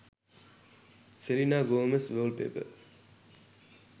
selena gomez wallpaper